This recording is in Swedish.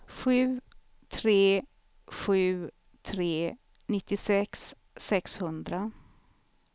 sju tre sju tre nittiosex sexhundra